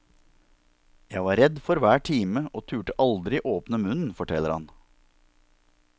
Jeg var redd for hver time og turde aldri åpne munnen, forteller han.